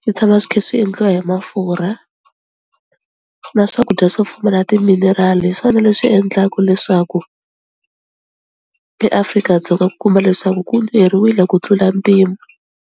swi tshama swi khi swi endliwa hi mafurha, na swakudya swo pfumala timinerali hi swona leswi endlaku leswaku eAfrika-Dzonga ku kuma leswaku ku nyuheriwile ku tlula mpimo.